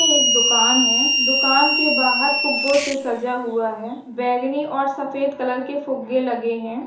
ए एक दुकान है दुकान के बहार फुग्गे से सजा हुआ है बेगनी और सफेद कलर के फुगे लगे हैं।